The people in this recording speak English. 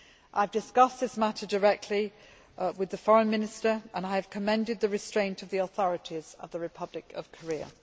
I have discussed this matter directly with the Foreign Minister and I have commended the restraint of the authorities of the Republic of Korea.